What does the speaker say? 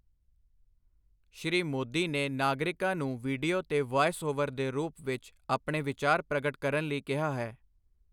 ਸ਼੍ਰੀ ਮੋਦੀ ਨੇ ਨਾਗਰਿਕਾਂ ਨੂੰ ਵੀਡੀਓ ਤੇ ਵੌਇਸ ਓਵਰ ਦੇ ਰੂਪ ਵਿੱਚ ਆਪਣੇ ਵਿਚਾਰ ਪ੍ਰਗਟ ਕਰਨ ਲਈ ਕਿਹਾ ਹੈ।